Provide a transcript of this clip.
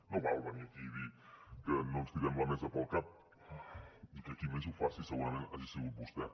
no val venir aquí i dir que no ens tirem la mesa pel cap i que qui més ho faci segurament hagi sigut vostè